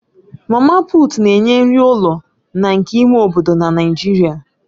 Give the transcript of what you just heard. Mama Puut na-enye nri ụlọ na nke ime obodo na Naịjirịa